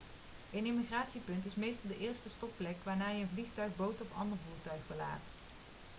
een immigratiepunt is meestal de eerste stopplek wanneer je een vliegtuig boot of ander voertuig verlaat